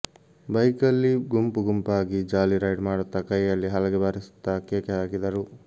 ಬೈಕಲ್ಲಿ ಗುಂಪು ಗುಂಪಾಗಿ ಜಾಲಿ ರೈಡ್ ಮಾಡುತ್ತಾ ಕೈಯಲ್ಲಿ ಹಲಗೆ ಬಾರಿಸುತ್ತಾ ಕೇಕೆ ಹಾಕಿದರು